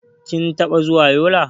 Kin taɓa zuwa Yola?